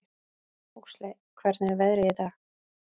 Huxley, hvernig er veðrið í dag?